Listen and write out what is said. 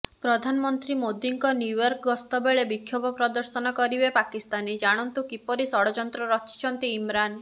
ପ୍ରଧାନମନ୍ତ୍ରୀ ମୋଦିଙ୍କ ନ୍ୟୁୟର୍କ ଗସ୍ତ ବେଳେ ବିକ୍ଷୋଭ ପ୍ରଦର୍ଶନ କରିବେ ପାକିସ୍ତାନୀ ଜାଣନ୍ତୁ କିପରି ଷଡଯନ୍ତ୍ର ରଚିଛନ୍ତି ଇମ୍ରାନ